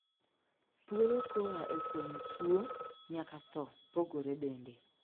Thuolo koaa e fwenyo tuo nyaka thoo pogore bende.